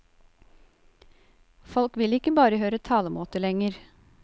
Folk vil ikke bare høre talemåter lenger.